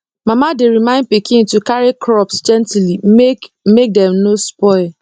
mama dey remind pikin to carry crops gently make make dem no spoil